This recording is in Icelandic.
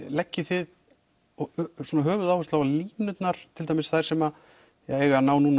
leggið þið höfuðáherslu á línurnar til dæmis þær sem eiga að ná